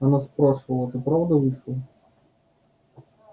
она спрашивала ты правда вышел